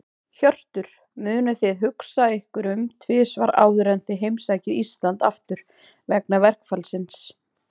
Hjörtur: Munuð þið hugsa ykkur um tvisvar áður en þið heimsækið Íslands aftur, vegna verkfallsins?